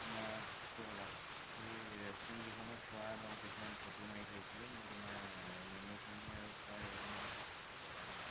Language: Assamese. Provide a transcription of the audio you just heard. মই তুমাক ৰবা সেই restaurant গিখনত সুৱা কিছুমান photo মাৰি থোইছিলো মই তুমাৰ menu খিনি আৰু খুৱা হেৰি খিনি photo পথাই দিম whatsapp ত